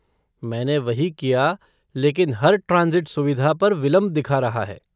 मैंने वही किया लेकिन हर ट्रांसिट सुविधा पर विलंब दिखा रहा है।